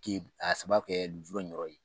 K'i a sababu kɛ lujura in yɔrɔ ye